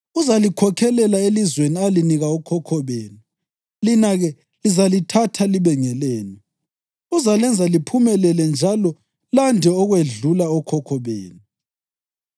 Uzalikhokhelela elizweni alinika okhokho benu, lina-ke lizalithatha libe ngelenu. Uzalenza liphumelele njalo lande ukwedlula okhokho benu.